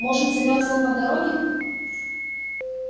может замёрзла по дороге